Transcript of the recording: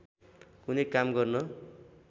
कुनै काम गर्न